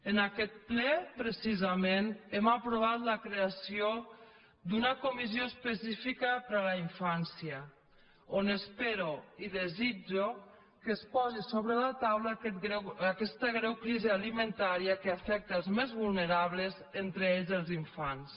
en aquest ple precisament hem aprovat la creació d’una comissió específica per a la infància on espero i desitjo que es posi sobre la taula aquesta greu crisi alimentària que afecta els més vulnerables entre ells els infants